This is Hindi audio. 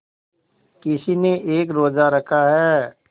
किसी ने एक रोज़ा रखा है